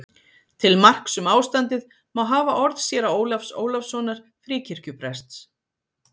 Til marks um ástandið má hafa orð séra Ólafs Ólafssonar Fríkirkjuprests